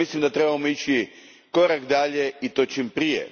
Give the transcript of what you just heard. Mislim da trebamo ići korak dalje i to čim prije.